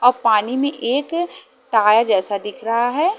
अब पानी में एक टायर जैसा दिख रहा है।